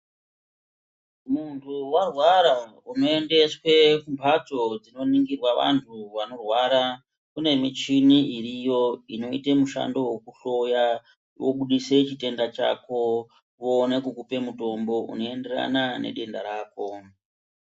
Muntu warwara unoendeswe kumbatso dzinoningirwa vantu vanorwara kune michini iriyo inoite mishandowo wekuhloya wobudise chitenda chako voone kukupa mutombo unoenderana nedenda rako.